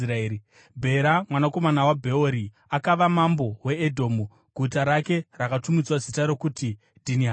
Bhera, mwanakomana waBheori, akava mambo weEdhomu. Guta rake rakatumidzwa zita rokuti Dhinihabha.